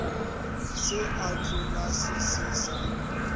se a hlolase se sa